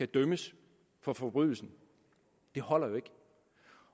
dømmes for forbrydelsen det holder jo ikke